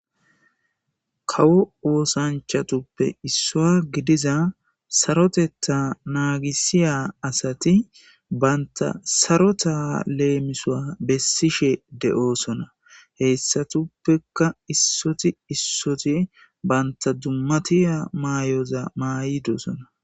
Kawo woosanchatuppe issoa gidiza sarotetta naagisiya asati banta sarota leemisoa bessishe de'oosona heyssatuppeka issoti issoti banta dummatiya maayoza maayidosona.